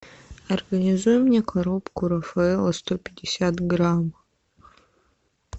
организуй мне коробку рафаэлло сто пятьдесят грамм